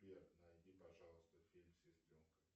сбер найди пожалуйста фильм сестренка